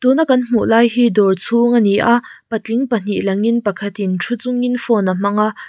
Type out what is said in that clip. tuna kan hmuh lai hi dawr chhung ania patling pahnih langin pakhatin thu chungin phone a hmaga--